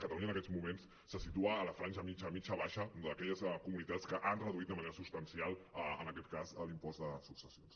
catalunya en aquests moments se situa en la franja mitjana mitjana baixa d’aquelles comunitats que han reduït de manera substancial en aquest cas l’impost de successions